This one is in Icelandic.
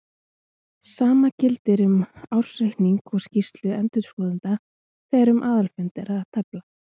Sama gildir um ársreikning og skýrslu endurskoðenda þegar um aðalfund er að tefla.